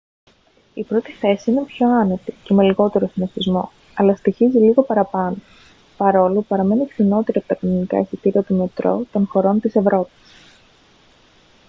η πρώτη θέση είναι πιο άνετη και με λιγότερο συνωστισμό αλλά στοιχίζει λίγο παραπάνω παρόλο που παραμένει φθηνότερη από τα κανονικά εισιτήρια του μετρό των χωρών της ευρώπης